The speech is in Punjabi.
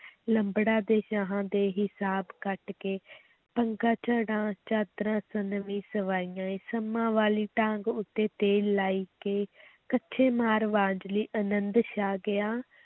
ਲੰਬੜਾਂ ਤੇ ਸ਼ਾਹਾਂ ਦੇ ਹਿਸਾਬ ਕੱਟ ਕੇ ਪੰਗਾ ਝੜਾਂ ਚਾਦਰਾਂ ਸੰਮਾਂ ਵਾਲੀ ਡਾਂਗ ਉੱਤੇ ਤੇਲ ਲਾਏ ਕੇ ਕੱਛੇ ਮਾਰ ਵੰਝਲੀ ਅਨੰਦ ਛਾ ਗਿਆ,